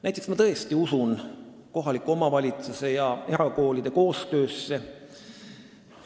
Näiteks, ma tõesti usun kohaliku omavalitsuse ja erakooli koostöösse.